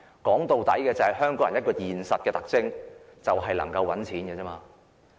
說到底，香港人都很現實，能夠賺錢就沒有問題。